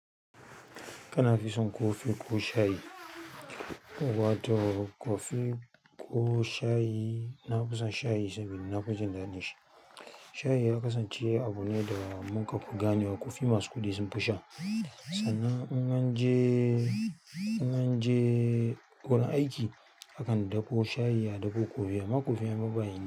Kana fi son ko fiko shayi? Wato ko fiko shayi, na fi son shayi saboda na fi jin daɗin shi. Shayi ya kasance abu ne da muka ku gane wa kofi masu kuɗi sunfi sha. Sannan in mun je, in munn je gurin aiki mukan dafo shayi a dako amma kofin babba ne.